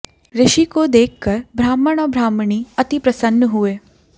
ऋषि को देखकर ब्राह्मण और ब्राह्मणी अति प्रसन्न हुए